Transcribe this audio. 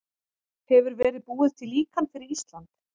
Hefur verið búið til líkan fyrir Ísland?